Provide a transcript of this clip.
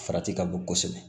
Farati ka bon kosɛbɛ